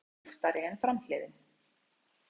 Afturhlið hans er kúptari en framhliðin.